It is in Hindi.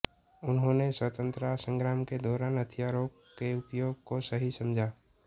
उन्होंने स्वतंत्रता संग्राम के दौरान हथियारों के उपयोग को सही समझा